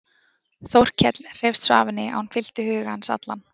Þórkell hreifst svo af henni að hún fyllti huga hans allan.